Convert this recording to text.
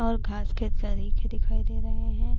اور گھاس کے دکھائی دے رہے ہے۔